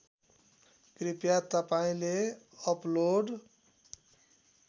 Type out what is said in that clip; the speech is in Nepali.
कृपया तपाईँले अपलोड